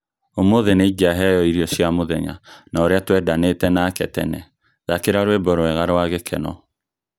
Ũmũthĩnĩ ngĩaheo irio cia mũthenya na ũrĩa twendanĩte nake tene ,thakira rwĩmbo rwega rwa gĩkeno.